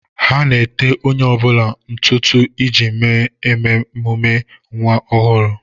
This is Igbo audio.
Ha na-ete onye ọ bụla ntụ ntụ iji mee ememe ọmụmụ nwa ọhụrụ.